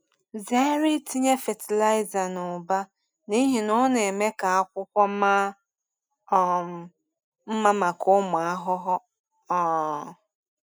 Zere itinye fatịlaịza n’ụba n’ihi na ọ na-eme ka akwụkwọ maa um mma maka ụmụ ahụhụ. um